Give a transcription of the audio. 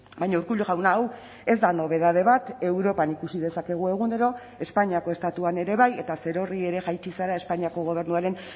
baina urkullu jauna hau ez da nobedade bat europan ikusi dezakegu egunero espainiako estatuan ere bai eta zerorri ere jaitsi zara espainiako gobernuaren